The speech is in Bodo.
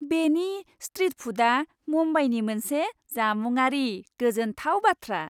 बेनि स्ट्रिट फुडआ मुम्बाइनि मोनसे जामुङारि गोजोनथाव बाथ्रा।